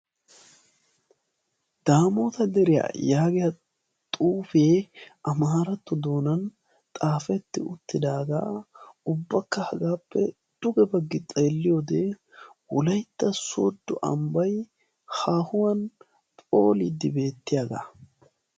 Daamoota deriya yaagiya xuufee amaaratto doonan xaafetti uttidaaga, ubbakka hagagappe dugge baggi xeeliyode wolaytta soodo ambbay phooliidi beetiyaga